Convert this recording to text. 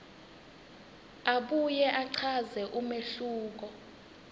abuye achaze umehluko